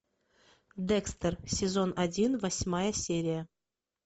декстер сезон один восьмая серия